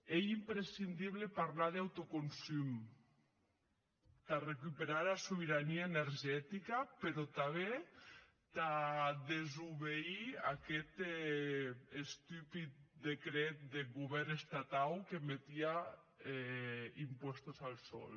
ei imprescindible parlar d’autoconsum tà recuperar era sobeirania energetica però tanben tà desobedir aguest estupid decret deth govèrn estatau que metie impuestos al sol